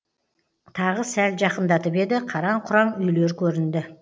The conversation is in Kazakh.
тағы сәл жақындатып еді қараң құраң үйлер көрінді